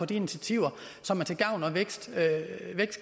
de initiativer som er til gavn og